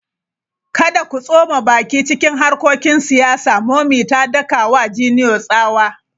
Kada ku tsoma baki cikin harkokin siyasa! Mummy ta daka wa Junior tsawa!